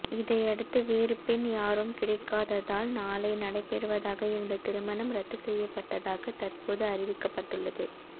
இதையடுத்து வேறு பெண் யாரும் கிடைக்காததால் நாளை நடைபெறுவதாக இருந்த திருமணம் ரத்து செய்யப்பட்டதாக தற்போது அறிவிக்கப்பட்டுள்ளது